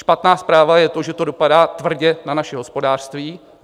Špatná zpráva je to, že to dopadá tvrdě na naše hospodářství.